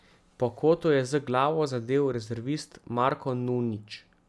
Po kotu je z glavo zadel rezervist Marko Nunić.